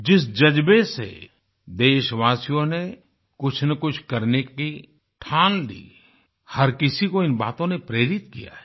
जिस ज़ज्बे से देशवासियों ने कुछनकुछ करने की ठान ली हर किसी को इन बातों ने प्रेरित किया है